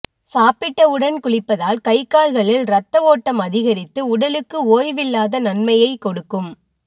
சாப்பிட்டவுடன் குளிப்பதால் கைகால்களில் ரத்த ஓட்டம் அதிகரித்து உடலுக்கு ஓய்வில்லாத தன்மையை கொடுக்கும்